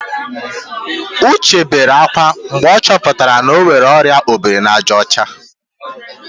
Uche bere ákwá mgbe ọ chọputara na ọ nwere ọrịa obirinajaọcha